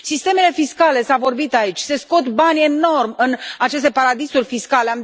Sistemele fiscale, s a vorbit aici, se scot bani enorm în aceste paradisuri fiscale.